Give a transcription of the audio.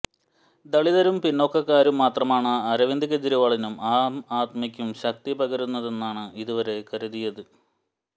ദളിതരും പിന്നോക്കക്കാരും മാത്രമാണ് അരവിന്ദ് കെജരീവാളിനും ആം ആദ്മിക്കും ശക്തിപകരുന്നതെന്നാണ് ഇതുവരെ കരുതിയിരുന്നത്